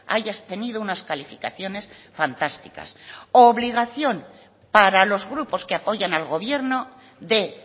hayas tenido unas calificaciones fantásticas obligación para los grupos que apoyan al gobierno de